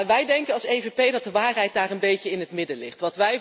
Wij als EVP denken dat de waarheid daar een beetje in het midden ligt.